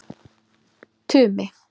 Tumi